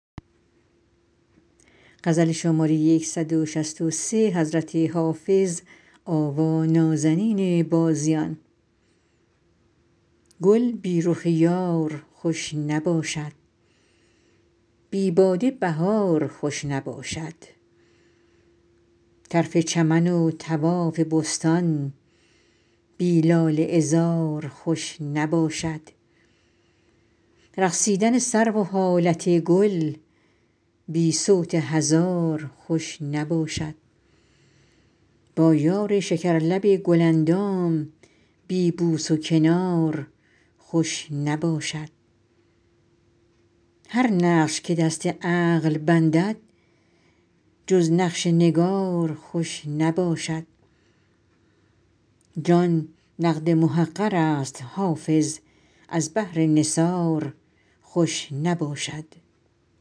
گل بی رخ یار خوش نباشد بی باده بهار خوش نباشد طرف چمن و طواف بستان بی لاله عذار خوش نباشد رقصیدن سرو و حالت گل بی صوت هزار خوش نباشد با یار شکرلب گل اندام بی بوس و کنار خوش نباشد هر نقش که دست عقل بندد جز نقش نگار خوش نباشد جان نقد محقر است حافظ از بهر نثار خوش نباشد